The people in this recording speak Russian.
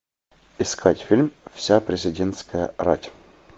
искать фильм вся президентская рать